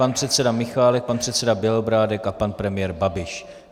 Pan předseda Michálek, pan předseda Bělobrádek a pan premiér Babiš.